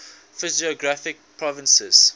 physiographic provinces